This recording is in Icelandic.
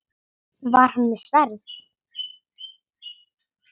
Var hann með sverð?